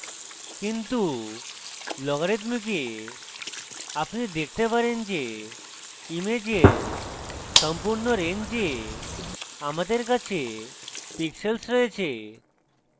কিন্তু লগারিদমিকে আপনি দেখতে পারেন যে ইমেজের সম্পূর্ণ range আমাদের কাছে pixels রয়েছে